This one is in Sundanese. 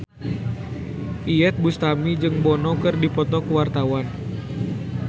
Iyeth Bustami jeung Bono keur dipoto ku wartawan